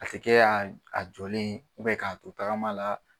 A tɛ kɛ a jɔlen k'a to tagama la.